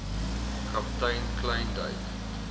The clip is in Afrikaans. kaptein kleyn duik